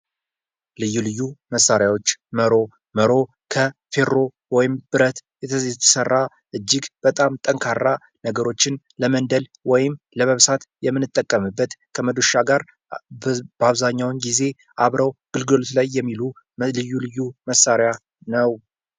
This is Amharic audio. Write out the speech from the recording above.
ልዩ ልዩ መሳሪያዎች መሮ መሮ አፌሮ ወይም ከብረት የተሰራ እጅግ በጣም ጠንካራ ነገሮችን ለመንደር ወይም ለመብሳት የምንጠቀምበት ከመዶሻ ጋር በአብዛኛው ጊዜ አብረው ጉልጋሎት ላይ የሚሆኑ በልዩ ልዩ መሳሪያ ነው ::